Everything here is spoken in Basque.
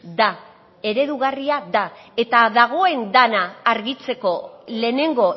da eredugarria da eta dagoen dena argitzeko lehenengo